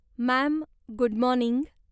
Ma'am, good morning.